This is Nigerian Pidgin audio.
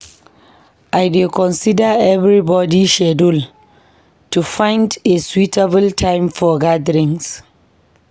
I dey consider everybody schedule to find a suitable time for gatherings.